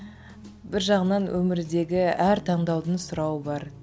бір жағынан өмірдегі әр таңдаудың сұрауы бар